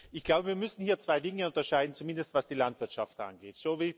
Ich glaube, wir müssen hier zwei Dinge unterscheiden, zumindest was die Landwirtschaft angeht.